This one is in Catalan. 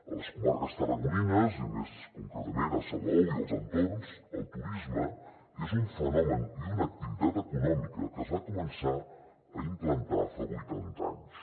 a les comarques tarragonines i més concretament a salou i els entorns el turisme és un fenomen i una activitat econòmica que es va començar a implantar fa vuitanta anys